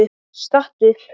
Stattu upp!